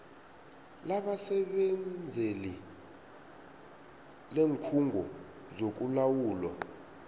labasebenzeli leenkhungo zokulawulwa